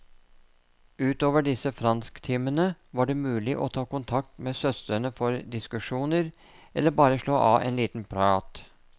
Utover disse fransktimene, var det mulig å ta kontakt med søstrene for diskusjoner, eller bare slå av en liten prat.